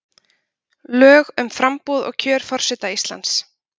Lög um framboð og kjör forseta Íslands